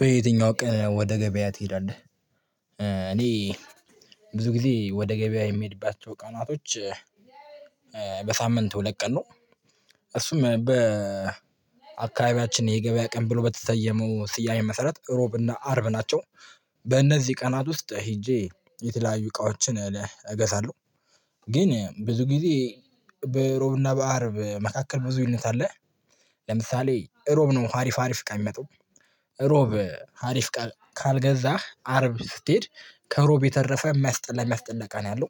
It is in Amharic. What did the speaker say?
በየትኛው ቀን ወደ ገበያ ትሄዳለህ? እኔ ብዙ ጊዜ ወደ ገበያ የምሄድባቸው ቀናቶች። በሳምንት ሁለት ቀን ነው። እሱም በአካባቢያችን የገበያ ቀን ብሎ በተሰየመው ስያሜ መሰረት እሮብ እና አርብ ናቸው። በእነዚህ ቀናት ውስጥ ሄጄ የተለያዩ እቃዎችን እገዛለሁ። ግን ብዙ ጊዜ በሮብና በአርብ መካከል ብዙ ልዩነት አለ። ለምሳሌ እሮብ ነው ሀሪፍ ሀሪፍ እቃ የሚመጣው። እሮብ ሀሪፍ ካልገዛህ አርብ ስትሄድ ከሮብ የተረፈ የሚያስጠላ የሚያስጠላ እቃ ነው ያለው።